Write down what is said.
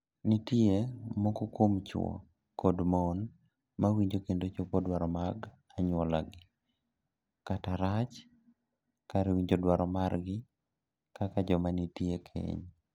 Nitie moko kuom chwo kod mon ma winjo kendo chopo dwaro mag anyuolagi, kata rach, kar winjo dwaro margi kaka joma nitie e keny.